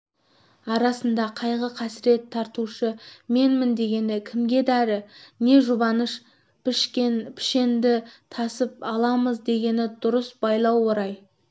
арасында қайғы-қасірет тартушы менмін дегені кімге дәрі не жұбаныш пішенді тасып аламыз дегені дұрыс байлау орайы